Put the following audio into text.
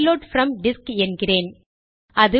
reload from disk என்கிறேன்